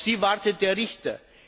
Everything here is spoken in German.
Auf sie wartet der Richter.